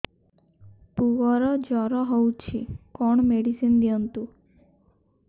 ପୁଅର ଜର ହଉଛି କଣ ମେଡିସିନ ଦିଅନ୍ତୁ